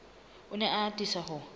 o ne a atisa ho